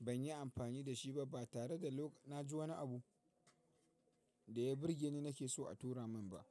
ban yi amfani da shi ba tare da na ji wani abu da ya burgeni nake so a tura min ba.